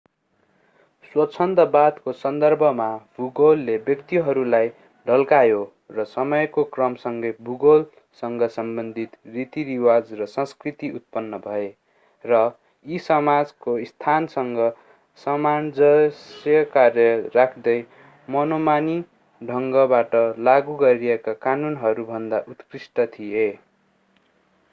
स्वच्छन्दतावादको सन्दर्भमा भूगोलले व्यक्तिहरूलाई ढल्कायो र समयको क्रमसँगै भूगोलसँग सम्बन्धित रीति-रिवाज र संस्कृति उत्पन्न भए र यी समाजको स्थानसँग सामञ्जस्य कायम राख्दै मनोमानी ढंगबाट लागू गरिएका कानूनहरूभन्दा उत्कृष्ट थिए